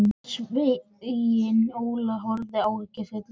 Sveinn Óli horfði áhyggjufullur á mig.